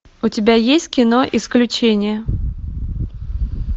у тебя есть кино исключение